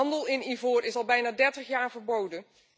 Handel in ivoor is al bijna 30 jaar verboden.